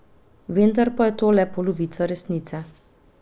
Vendar pa je to le polovica resnice.